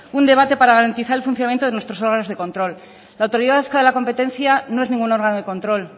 un debate para garantizar el funcionamiento de nuestros órganos de control la autoridad vasca de la competencia no es ningún órgano de control